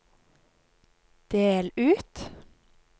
del ut